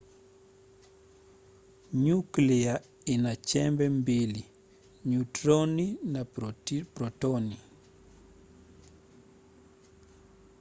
nyuklia ina chembe mbili - nyutroni na protoni